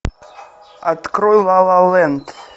открой ла ла ленд